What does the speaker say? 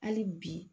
Hali bi